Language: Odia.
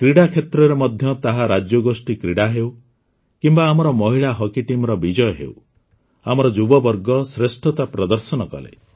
କ୍ରୀଡ଼ା କ୍ଷେତ୍ରରେ ମଧ୍ୟ ତାହା ରାଜ୍ୟଗୋଷ୍ଠୀ କ୍ରୀଡ଼ା ହେଉ କିମ୍ବା ଆମର ମହିଳା ହକି ଟିମ୍ର ବିଜୟ ହେଉ ଆମର ଯୁବବର୍ଗ ଶ୍ରେଷ୍ଠତା ପ୍ରଦର୍ଶନ କଲେ